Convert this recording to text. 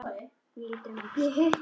Hún lítur um öxl.